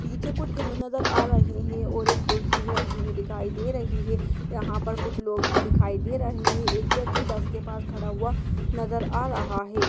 पीछे कुछ घर नजर आ रहे हैं और एक कुर्सी भी रखी हुई दिखाई दे रही है। यहां पर कुछ लोग भी दिखाई दे रहे हैं। एक व्यक्ति बस के पास खड़ा हुआ नजर आ रहा है।